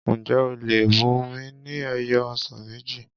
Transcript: Ǹjẹ́ o lè bùnmi ni ẹyọ ọsàn méjì?